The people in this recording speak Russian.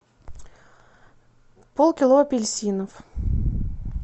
пол кило апельсинов